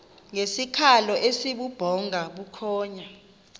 ngesikhalo esibubhonga bukhonya